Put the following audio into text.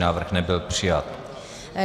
Návrh nebyl přijat.